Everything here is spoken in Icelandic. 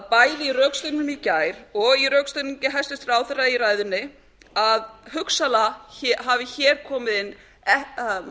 bæði í rökstuðningnum í gær í rökstuðningi hæstvirtur ráðherra í ræðunni að hugsanlega hafi hér komið inn